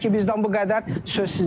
Hələ ki, bizdən bu qədər.